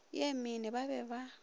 ye mene ba be ba